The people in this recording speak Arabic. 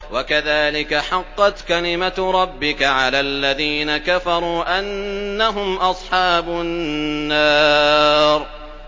وَكَذَٰلِكَ حَقَّتْ كَلِمَتُ رَبِّكَ عَلَى الَّذِينَ كَفَرُوا أَنَّهُمْ أَصْحَابُ النَّارِ